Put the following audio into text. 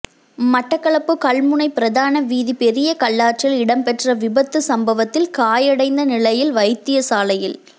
மட்டக்களப்பு கல்முனை பிரதான வீதி பெரியகல்லாற்றில் இடம்பெற்ற விபத்து சம்பவத்தில் காயடைந்த நிலையில் வைத்தியசாலையில்